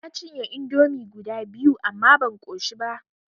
Na cinye indomi guda biyu amma ban ƙoshi ba.